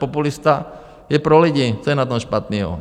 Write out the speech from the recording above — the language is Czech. Populista je pro lidi, co je na tom špatného?